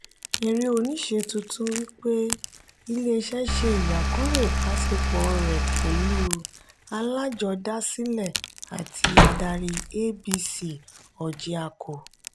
eré oníṣe tuntun wípé ilé iṣé ṣe iyakuro ìbásepo rẹ pẹlú alajodasile àti adari abc orjiako.